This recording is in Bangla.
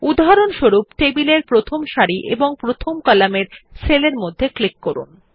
উদাহরণস্বরূপ টেবিলেরপ্রথম সারির এবং প্রথম কলামের সেলের মধ্যে ক্লিক করুন